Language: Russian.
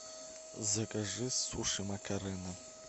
закажи суши макарена